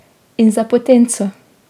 In za potenco.